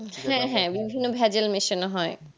হ্যাঁ হ্যাঁ বিভিন্ন ভ্যাজাল মেশানো হয়